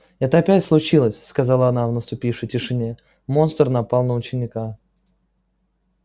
это опять случилось сказала она в наступившей тишине монстр напал на ученика